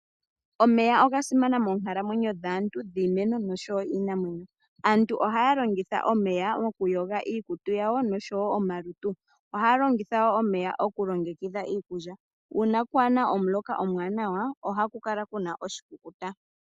Omeya oga simana moonkalamwenyo dhaantu, iimeno oshowo iinamwenyo. Aantu ohaya longitha omeya mokuyoga iikutu yawo nohaya longitha wo omeya mokulongekidha iikulya. Uuna pwaana omuloka omuwanawa, ohaku kala ku na oshikukuta.